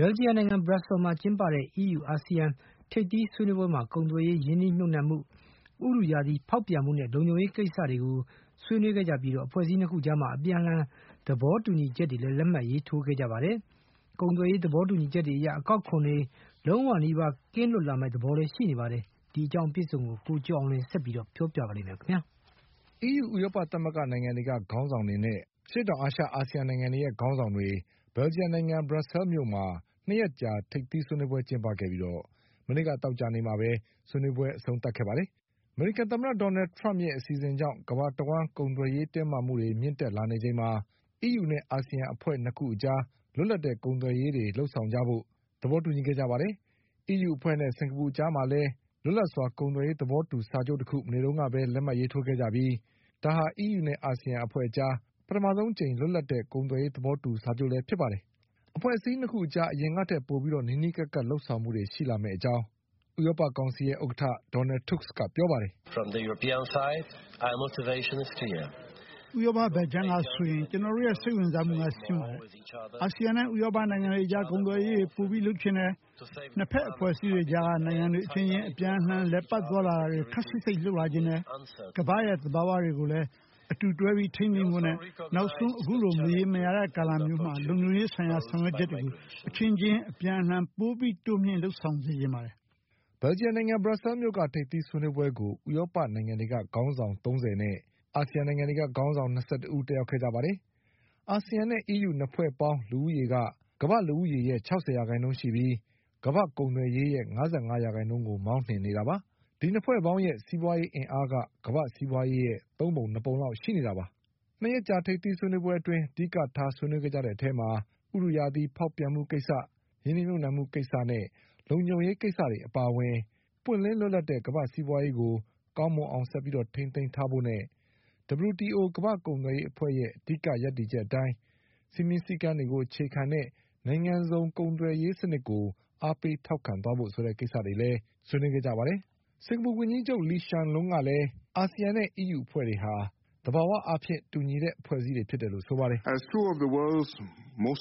ဘလ်ဂျီယံနိုင်ငံ ဘရပ်ဆဲလ်မြို့မှာကျင်းပတဲ့ EU-ASEAN ထိပ်သီးဆွေးနွေးပွဲမှာ ကုန်သွယ်ရေး၊ ရင်းနှီးမြှုပ်နှံမှု၊ ဥတုရာသီ ဖေါက်ပြန်မှုနဲ့ လုံခြုံရေးကိစ္စတွေကိုဆွေးနွေးခဲ့ကြပြီး အဖွဲ့အစည်း၂ ခု အကြား အပြန်အလှန် သဘော တူညီချက်တွေလည်း လက်မှတ်ရေးထိုးခဲ့ကြပါတယ်။ ကုန်သွယ်ရေး သဘောတူညီချက်တွေအရ အကောက် ခွန်တွေ အားလုံးနီးပါးကင်းလွတ် လာမယ့်သဘောတွေ ရှိနေပါတယ်။ ဒီအကြောင်း ကိုကျော်အောင်လွင်က ဆက်ပြီးပြောပြပါလိမ့်မယ်။ EU ဥရောပသမဂ္ဂနိုင်ငံံတွေက ခေါင်းဆောင်တွေနဲ့ အာဆီယံနိုင်ငံတွေရဲ့ခေါင်းဆောင်တွေ ဘလ်ဂျီ ယံ နိုင်ငံ ဘရပ်ဆဲလ်မြို့မှာ ၂ ရက်ကြာထိပ်သီးဆွေးနွေးပွဲကျင်းပခဲ့ပြီး မနေ့ကသောကြာနေ့ မှာပဲ ဆွေးနွေးပွဲ အဆုံးသတ် ခဲ့တာပါ။ အမေရိကန်သမ္မတ ဒေါ်နလ်ထရမ့်ရဲ့အဆီစဉ်ကြောင့် ကမ္ဘာတဝှမ်း ကုန်သွယ်ရေးတင်းမာမှုတွေ မြင့်တက်လာနေချိန်မှာ အီးယူနဲ့အာဆီယံအဖွဲ့ ၂ ခု အကြား လွတ်လပ် တဲ့ ကုန်သွယ်ရေးတွေလုပ်ဆောင်ကြဖို့ မနေ့က သောကြာနေ့တုန်းက သဘောတူခဲ့ကြပါတယ်။ အီးယူအဖွဲ့နဲ့ စင်္ကာပူအကြားမှာလည်း လွတ်လပ်စွာ ကုန်သွယ်ရေးသဘောတူစာချုပ်တခုကို မနေ့ကပဲ လက်မှတ်ရေးထိုးခဲ့ကြပြီး ဒါဟာ အီးယူနဲ့အာဆီယံအကြား ပထမဆုံးအကြိမ် လွတ်လပ်တဲ့ ကုန်သွယ်ရေးသဘောတူစာချုပ်လည်းဖြစ်ပါတယ်။ အဖွဲ့ အစည်း ၂ ခုအကြား အရင်ကထက်ပိုပြီး နီးနီးကပ်ကပ်လုပ်ဆောင်မှုတွေရှိလာမယ့်အကြောင်းဥရောပကောင်ဆီရဲ့ ဥက္ကဋ္ဌ Donald Tusk ကပြောပါတယ်။ “ဥရောပဘက်ခြမ်းကဆိုရင် ကျနော်တို့ရဲ့ စိတ်ဝင်စားမှုက ရှင်းပါတယ်။ အာဆီယံနဲ့ ဥရောပနိုင်ငံတွ အကြား ကုန်သွယ်ရေးတွေ ပိုပြီးလုပ်ချင်တယ်။ ၂ ဘက်အဖွဲ့အစည်းအကြားက နိုင်ငံတွေအချင်းချင်း အပြန်အလှန် အလည်အပတ် သွားတာတွေ ခပ်စိပ်စိပ်လုပ်လာချင်တယ်။ ကမ္ဘာ့ရဲ့သဘာဝတွေ ကို လည်း အတူတွဲပြီး ထိန်းသိမ်းဖို့နဲ့ နောက်ဆုံး အခုလိုမရေရာတဲ့ ကာလမျိုးမှာ လုံခြုံရေးဆိုင်ရာ ဆောင်ရွက်ချက်တွေကို အချင်းချင်း အပြန်အလှန် ပိုပြီးတိုးမြှင့်လုပ်ဆောင်စေချင်ပါတယ်။” ဘရပ်ဆဲလ်မြို့က ထိပ်သီးဆွေးနွေးပွဲကို ဥရောပနိုင်ငံတွေက ခေါင်းဆောင် ၃၀ နဲ့ အာဆီယံ နိုင်ငံတွေက ခေါင်းဆောင်၂၁ ဦး တက်ရောက်ခဲ့ကြပါတယ်။ အာဆီယံနဲ့အီးယူ ၂ ဖွဲ့ပေါင်း လူဦးရေ က ကမ္ဘာ့လူဦးရေရဲ့ ခြောက်ဆယ်ရာခိုင်နှုန်းရှိပြီး ကမ္ဘာ့ကုန် သွယ်ရေးရဲ့ ၅၅ ရာခိုင်နှုန်းကို မောင်းနှင်နေတာပါ။ ဒီ ၂ ဖွဲ့ ပေါင်းရဲ့ စီးပွါးရေးအင်အားက ကမ္ဘာ့စီးပွါးရေးရဲ့ သုံးပုံနှစ်ပုံလောက်ရှိ နေတာပါ။ ၂ ရက်ကြာ ထိပ်သီးဆွေးနွေးပွဲအတွင်း အဓိက ဆွေးနွေးခဲ့ကြတဲ့အထဲမှာ ဥတုရာသီ ဖောက်ပြန်မှုကိစ္စ၊ ရင်းနှီးမြှုပ်နှံမှုကိစ္စနဲ့ လုံခြုံရေးကိစ္စတွေအပါအဝင် ပွင့်လင်းလွတ်လပ်တဲ့ ကမ္ဘာ့ စီးပွါးရေးကို ကောင်းမွန်အောင်ဆက်ပြီးထိမ်းသိမ်း ထားဖို့နဲ့ WTO ကမ္ဘာ့ ကုန်သွယ် ရေးအဖွဲ့ရဲ့ အဓိက ရပ်တည်ချက်အတိုင်း စည်းမျဉ်းစည်းကမ်းကိုအခြေခံတဲ့ နိုင်ငံစုံကုန်သွယ်ရေး စံနစ်ကို အားပေးထောက်ခံသွားဖို့ဆိုတဲ့ကိစ္စတွေလည်းပါဝင်ပါတယ်။ စင်္ကာပူဝန်ကြီးချုပ် Lee Hsien Loong ကလည်း အာဆီယံနဲ့အီးယူအဖွဲ့တွေဟာ သဘာဝအားဖြင့် တူညီတဲ့အဖွဲ့တွေဖြစ်တယ်လို့ ဆိုပါတယ်။ “ကမ္ဘာပေါ်မှာအ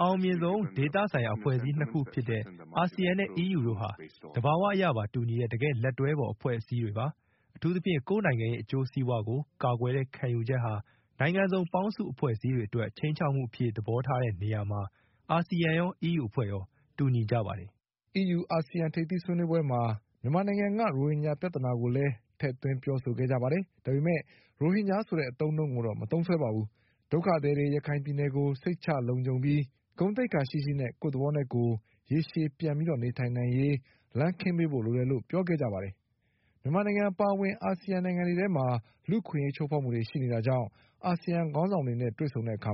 အောင်မြင်ဆုံးဒေသဆိုင်ရာအဖွဲ့အစည်း ၂ ခုဖြစ်တဲ့ အာဆီယံနဲ့ အီးယူတို့ဟာ သဘာဝအရပါ တူညီတဲ့ တကယ့်လက်တွဲဖေါ် အဖွဲ့အစည်းတွေပါ။ အထူးသဖြင့် ကိုယ့်နိုင်ငံရဲ့ အကျိုးစီးပွါးကို ကာကွယ်တဲ့ ခံယူချက်ဟာ နိုင်ငံစုံ ပေါင်းစုံ အဖွဲ့အစည်းတွေအတွက် ချိန်းခြောက်မှုအဖြစ် သဘောထားတဲ့နေရာမှာ အာဆီယံရော အီးယူအဖွဲ့ရော တူညီကြပါတယ်။” အီးယူ အာဆီယံထိပ်သီးဆွေးနွေးပွဲမှာ မြန်မာနိုင်ငံက ရိုဟင်ဂျာပြဿနာကိုလည်း ထည့်ပြောခဲ့ကြပါတယ်။ ဒါပေမဲ့ ရိုဟင်ဂျာ ဆိုတဲ့အသုံးအနှုန်းကိုတော့ မသုံးစွဲခဲ့ပါဘူး။ ဒုက္ခသည်တွေ ရခိုင်ပြည်နယ်ကို စိတ်ချလုံခြုံပြီး ဂုဏ်သိက္ခာရှိရှိနဲ့ ကိုယ့်သဘောနဲ့ကိုယ် ရေရှည်ပြန်ပြီး နေထိုင် နိုင်ရေး လမ်းခင်းပေးဖို့လိုတယ်လို့ ပြောခဲ့ကြပါ တယ်။ မြန်မာနိုင်ငံအပါအဝင် အာဆီယံနိုင်ငံတွေ ထဲမှာ လူ့အခွင့်အရေးချိုးဖေါက်မှုတွေရှိနေတာကြောင့် အာဆီယံ ခေါင်းဆောင်တွေနဲ့ဆုံတဲ့အခါ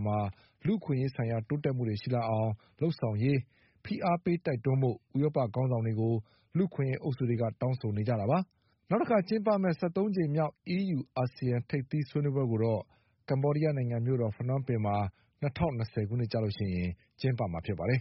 လူ့အခွင့်အရေးဆိုင်ရာ တိုးတက်မှုတွေရှိလာအောင် လုပ်ဆောင်ရေး ဖိအားပေးတိုက်တွန်းဖို့ ဥရောပခေါင်းဆောင်တွေကို လူ့အခွင့်အရေးအုပ်စုတွေက တောင်းဆိုနေကြတာပါ။ ၁၃ ကြိမ်မြောက် အီးယူ-အာဆီယံထိပ်သီးဆွေးနွေးပွဲကိုတော့ ကမ္ဘောဒီးယားနိုင်ငံမြို့တော် ဖနွမ်းပင်မှာ ၂၀၂၀ ခုနှစ်ကျရင် ကျင်းပမှာဖြစ်ပါတယ်